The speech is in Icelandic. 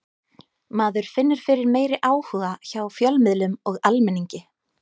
Maður finnur fyrir meiri áhuga hjá fjölmiðlum og almenningi.